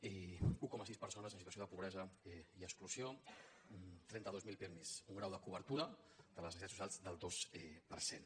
i un coma sis persones en situació de pobresa i exclusió trenta dos mil pirmi un grau de cobertura de les necessitats socials del dos per cent